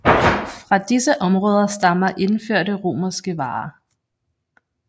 Fra disse områder stammer indførte romerske varer